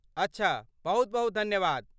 अच्छा, बहुत बहुत धन्यवाद।